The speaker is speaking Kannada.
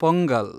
ಪೊಂಗಲ್